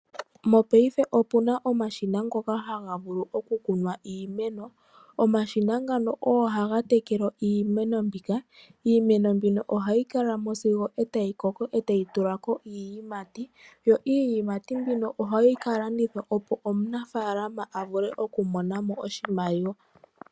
Mongaashingeyi opu na omashina ngoka haga vulu okukunwa iimeno. Omashina ngano ogo haga tekele iimeno mbika, iimeno mbino oha yi kalamo sigo e tayi koko e tayi tulako iiyimati yo iiyimati mbino oha yi kalandithwa opo omunafalama a vule okumonamo oshimaliwa.